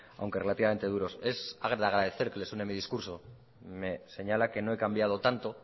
aunque relativamente duro es de agradecer que le suene de discurso me señala que no he cambiado tanto